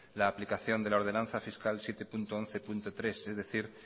la aplicación de la ordenanza fiscal siete punto once punto tres es decir